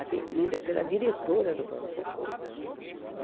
atendida pela diretora do pronto-socorro.